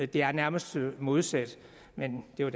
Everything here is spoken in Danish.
det er nærmest modsat men det er